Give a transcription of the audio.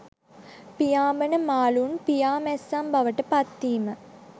පියාඹන මාලුන් පියාමැස්සන් බවට පත්වීම